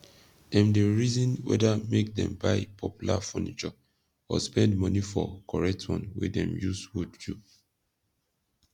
dem dey rizin weda make dem buy popular fornishur or spend money for koret one wey dem yus wood do